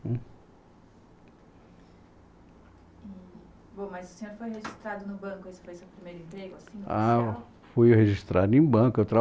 Bom, mas o senhor foi registrado no banco, esse foi o seu primeiro emprego assim? Ah, fui registrado em banco